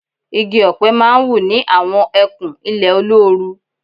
Igi ọ̀pẹ má ń wù ní àwọn ẹkùn ilẹ̀ olóoru